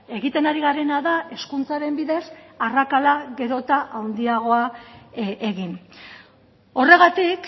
egiten ari garena da hezkuntzaren bidez arrakala gero eta handiagoa egin horregatik